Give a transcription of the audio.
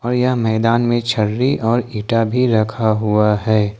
और यहां मैदान में छर्री और इंटा भी रखा हुआ है।